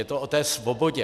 Je to o té svobodě.